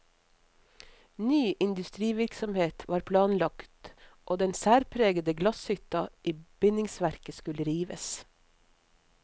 Ny industrivirksomhet var planlagt og den særpregede glasshytta i bindingsverk skulle rives.